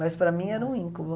Mas para mim era um íncubo.